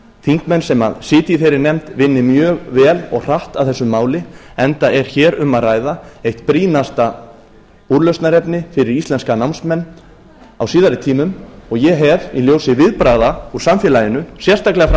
þingmenn sem sitja í þeirri nefnd vinni mjög vel og hratt að þessu máli enda er hér um að ræða eitt brýnasta úrlausnarefni fyrir íslenska námsmenn á síðari tímum og ég hef í ljósi viðbragða úr samfélaginu sérstaklega frá